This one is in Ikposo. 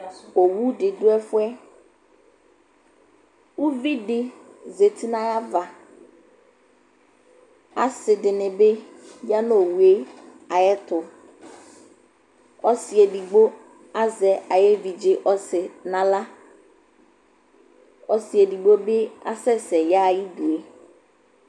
Owu dɩ dʋ ɛfʋ yɛ Uvi dɩ zati nʋ ayava Asɩ dɩnɩ bɩ ya nʋ owu yɛ ayɛtʋ Ɔsɩ edigbo azɛ ayʋ evidze ɔsɩ nʋ aɣla Ɔsɩ edigbo bɩ asɛsɛ yaɣa ayidu yɛ